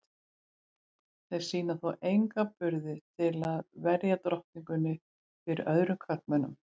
Þeir sýna þó enga burði til að verja drottninguna fyrir öðrum körlum.